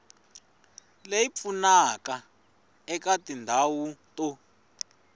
leyi pfunaka eka tindhawu to